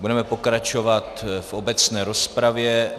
Budeme pokračovat v obecné rozpravě.